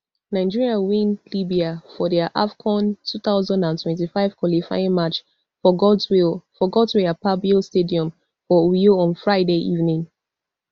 nigeria win libya for dia afcon two thousand and twenty-five qualifying match for godswill for godswill akpabio stadium for uyo on friday evening